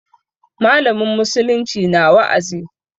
Mallamin musulunci na wa'azi.